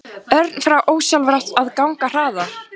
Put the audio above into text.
Örn fór ósjálfrátt að ganga hraðar.